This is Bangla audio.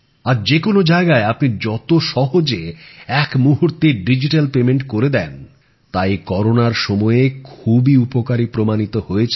আজ যেকোনো জায়গায় আপনি যত সহজে এক মুহুর্তে ডিজ্যিট্যাল মাধ্যমে জিনিসের দাম দেন তা এই করোনার সময়ে খুবই উপকারী প্রমাণিত হয়েছে